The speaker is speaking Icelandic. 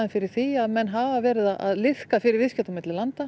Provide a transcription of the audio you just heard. fyrir því að menn hafa verið að liðka fyrir viðskiptum á milli landa